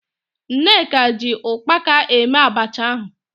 Nneka ji ụkpaka eme abacha ahụ.